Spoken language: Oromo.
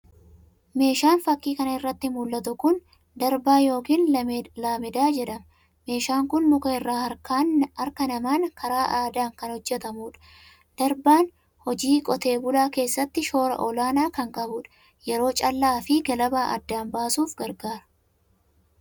Meeshaan fakii kana irratti mul'atu kun darbaa yookiin laamedaa jedham. Meeshaan kun muka irraa harkaan namaan karaa aadaa kan hojjetamudha. Darbaan hojii qotee bulaa keessatti shoora olaanaa kan qabudha. Yeroo callaa fi galabaa adda baasuuf gargaara.